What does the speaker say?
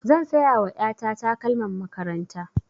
Zan saya wa ƴa ta takalman makaranta.